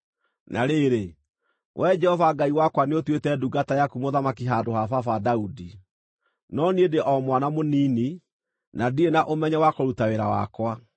“Na rĩrĩ, Wee Jehova Ngai wakwa nĩũtuĩte ndungata yaku mũthamaki handũ ha baba Daudi. No niĩ ndĩ o mwana mũnini na ndirĩ na ũmenyo wa kũruta wĩra wakwa.